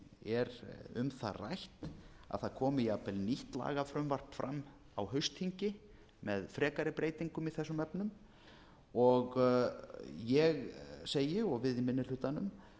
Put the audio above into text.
er um það rætt að það komi jafnvel nýtt lagafrumvarp fram á haustþingi með frekari breytingum í þessum efnum og ég segi og við í minni hlutanum